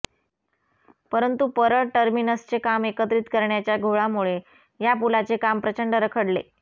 परंतु परळ टर्मिनसचे काम एकत्रित करण्याच्या घोळामुळे या पुलाचे काम प्रचंड रखडले